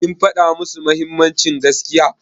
Kin faɗa musu mahimmancin gaskiya?